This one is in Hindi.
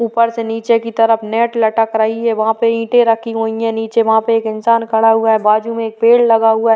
ऊपर से नीचे की तरफ नेट लटक रही है। वहां पे ईंटे रखी हुई हैं। नीचे वहां पे एक इंसान खड़ा हुआ है। बाजू में एक पेड़ लगा हुआ है।